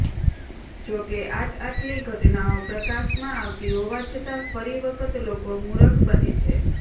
જો કે આટઆટલી ઘટનાઓ પ્રકાશમાં આવતી હોવાછતાં ફરી વખત લોકો મુરખ બને છે